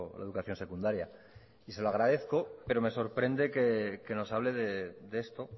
la educación secundaria y se lo agradezco pero me sorprende que nos hable de esto